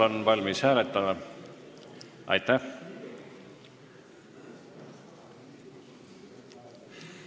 Aitäh!